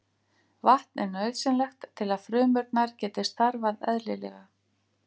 Vatn er nauðsynlegt til að frumurnar geti starfað eðlilega.